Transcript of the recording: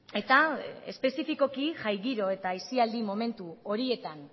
eta espezifikoki jai giro eta aisialdi momentu horietan